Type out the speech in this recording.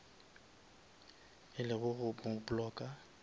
e le go mo blocka